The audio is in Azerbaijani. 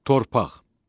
Torpaq.